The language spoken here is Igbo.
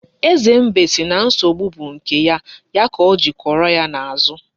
Eze mbe si na nsogbu bu nke ya, ya ka Ojiri kworo ya n'azu.